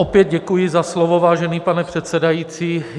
Opět děkuji za slovo, vážený pane předsedající.